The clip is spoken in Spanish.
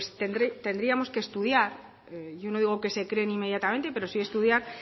pues tendríamos que estudiar yo no creo que se creen inmediatamente pero sí estudiar